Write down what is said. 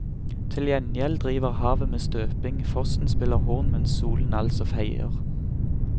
Til gjengjeld driver havet med støping, fossen spiller horn mens solen altså feier.